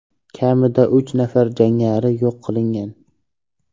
Kamida uch nafar jangari yo‘q qilingan.